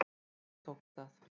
Loks tókst það.